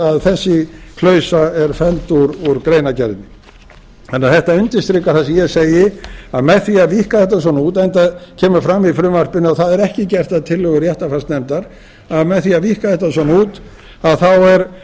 að þessi klausa er felld úr greinargerðinni þannig að þetta undirstrikar það sem ég segi að með því að víkka þetta svona út enda kemur fram í frumvarpinu að það er ekki gert að tillögu réttarfarsnefndar að með því að víkka þetta svona út þá er